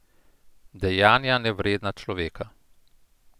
Dejanja, nevredna človeka.